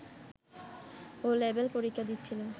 'ও' level পরীক্ষা দিচ্ছিল